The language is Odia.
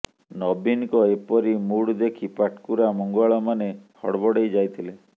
ନବୀନଙ୍କ ଏପରି ମୁଡ ଦେଖି ପାଟକୁରା ମଙ୍ଗୁଆଳମାନେ ହଡବଡେଇ ଯାଇଥିଲେ